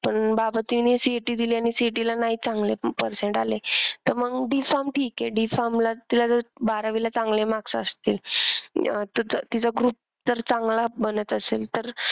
पण बाबा तिने CET दिली आणि CET ला नाही चांगले percent आले तर मग D farm ठीक आहे D farm ला तिला जर बारावीला चांगले marks असतील तर तिचा group अह जर चांगला बनत असेल तर,